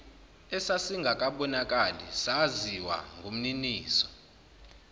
esasingakabonakali saziwa ngumniniso